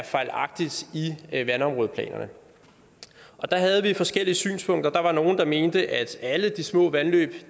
fejlagtigt er i vandområdeplanerne der havde vi forskellige synspunkter der var nogle der mente at alle de små vandløb